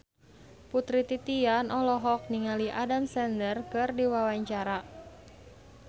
Putri Titian olohok ningali Adam Sandler keur diwawancara